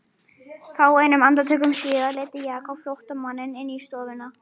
Fáeinum andartökum síðar leiddi Jakob flóttamanninn inn í stofuna.